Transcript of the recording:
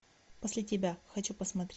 после тебя хочу посмотреть